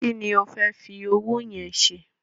Kí ni o fẹ́ fi owó yẹn ṣe?